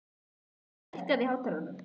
Nökkvi, lækkaðu í hátalaranum.